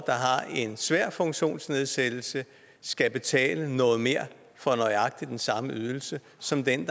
har en svær funktionsnedsættelse skal betale noget mere for nøjagtig den samme ydelse som den